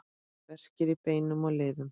Verkir í beinum og liðum